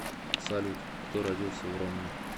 салют кто родился в ромны